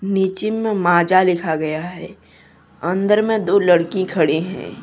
नीचे में माजा लिखा गया है अंदर में दो लड़की खड़ी है।